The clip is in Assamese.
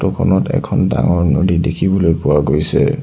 ফটো খনত এখন ডাঙৰ নদী দেখিবলৈ পোৱা গৈছে।